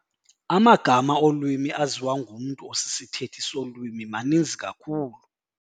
Amagama olwimi aziwa ngumntu osisithethi solwimi maninzi kakhulu.